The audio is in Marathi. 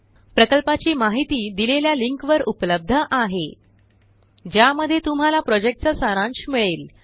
प्रकल्पाची माहिती दिलेल्या लिंकवर उपलब्ध आहेlinkhttpspoken tutorialorgWhat is a Spoken Tutorial ज्या मध्ये तुम्हाला प्रोजेक्ट चा सारांश मिळेल